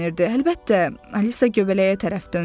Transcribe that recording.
Əlbəttə, Alisa göbələyə tərəf döndü.